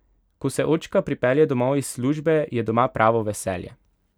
Ko se očka pripelje domov iz službe, je doma pravo veselje!